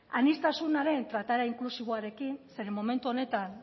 aniztasunaren trataera inklusiboarekin zeren momentu honetan